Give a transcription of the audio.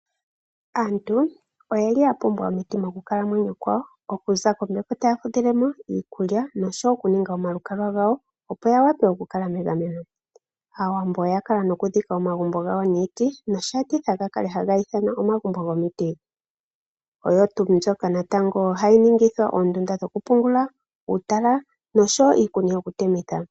Aantu oyeli yapumbwa omiti mokukalamwenyo kwawo. Okuza kombepo ndjoka taya fudhilemo, iikulya noshowoo okuninga oma lukalwa gawo opo ya wape oku kala megameno. Aawambo oyakala noku dhika omagumbo gawo nomiti nosheetitha opo yakale haye gi ithana omagumbo gomiti. Oyo tuu mbyoka hayi ningithwa oondunda dhoku pungula , uutala noshowoo iikuni yoku temitha.